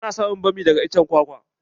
Ana samun bami daga iccen kwakwa.